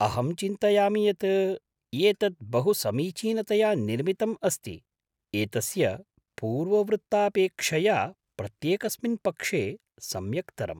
अहं चिन्तयामि यत् एतत् बहुसमीचीनतया निर्मितम् अस्ति, एतस्य पूर्ववृत्तापेक्षया प्रत्येकस्मिन् पक्षे सम्यक्तरम्।